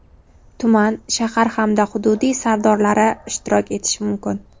tuman (shahar) hamda hududiy sardorlari ishtirok etishi mumkin.